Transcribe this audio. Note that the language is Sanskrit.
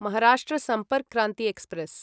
महाराष्ट्र सम्पर्क् क्रान्ति एक्स्प्रेस्